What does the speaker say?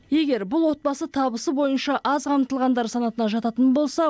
егер бұл отбасы табысы бойынша аз қамтылғандар санатына жататын болса